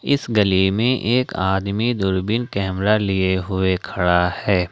इस गली में एक आदमी दूरबीन कैमरा लिए हुए खड़ा है।